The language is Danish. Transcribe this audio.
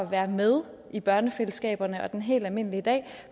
være med i børnefællesskaberne og den helt almindelige dag